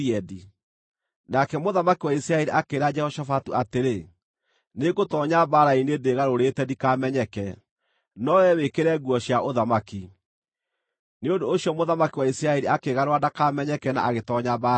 Nake mũthamaki wa Isiraeli akĩĩra Jehoshafatu atĩrĩ, “Nĩngũtoonya mbaara-inĩ ndĩĩgarũrĩte ndikamenyeke, no wee wĩkĩre nguo cia ũthamaki.” Nĩ ũndũ ũcio mũthamaki wa Isiraeli akĩĩgarũra ndakamenyeke na agĩtoonya mbaara-inĩ.